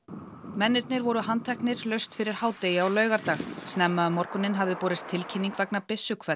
mennirnir voru handteknir laust fyrir hádegi á laugardag snemma um morguninn hafði borist tilkynning vegna